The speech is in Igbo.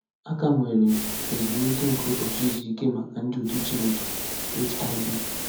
“A ka nwere ezumike nke ụbọchị izu ike maka ndị otu Chineke.” — HIB.